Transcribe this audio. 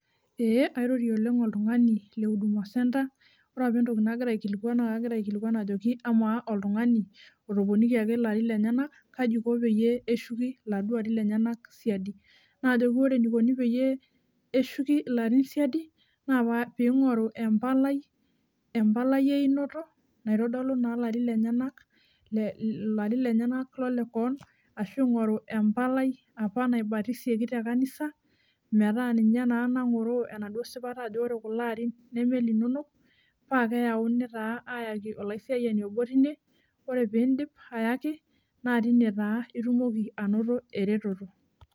Ee airorie oleng oltungani lehuduma centre , ore apa entoki nagira aikilikwan naa kagira aikiliikwan ajoki amaa oltungani otoponikiaki lenyenak kaji iko pee eshuki ilarin lenyenak siadi , najoki ore enikoni peyie eshuki ilarin siadi naa pingoru empalai, empalai einoto , naitodolu naa ilarin lenyenak le, ilarin lenyenak lolekewon ashu ingoru empalai apa naibatisieki metaa ninye naa nangoroo enaduo sipata ajo ore kulo arin neme ilinonok paa keyauni taa ayaki olaisiayiani obo tine , ore pindip ayaki naa tine taa itumoki anoto ereteto.